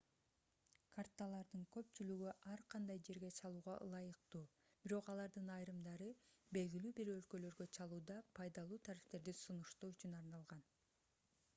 карталардын көпчүлүгү ар кандай жерге чалууга ылайыктуу бирок алардын айрымдары белгилүү бир өлкөлөргө чалууда пайдалуу тарифтерди сунуштоо үчүн арналган